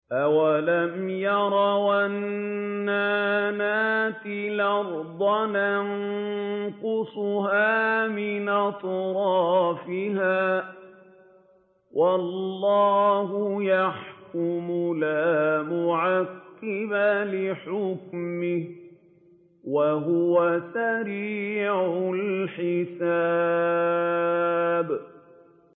أَوَلَمْ يَرَوْا أَنَّا نَأْتِي الْأَرْضَ نَنقُصُهَا مِنْ أَطْرَافِهَا ۚ وَاللَّهُ يَحْكُمُ لَا مُعَقِّبَ لِحُكْمِهِ ۚ وَهُوَ سَرِيعُ الْحِسَابِ